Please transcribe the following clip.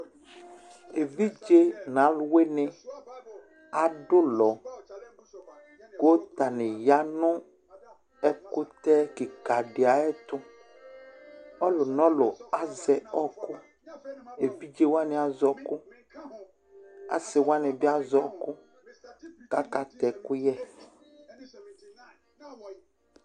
Evidze nʋ alʋwɩnɩ adʋ ʋlɔ kʋ atanɩ ya nʋ ɛkʋtɛ kɩka dɩ ayɛtʋ Ɔlʋ nʋ ɔlʋ azɛ ɔɣɔkʋ Evidze wanɩ azɛ ɔɣɔkʋ Asɩ wanɩ bɩ azɛ ɔɣɔkʋ kʋ akatɛ ɛkʋyɛ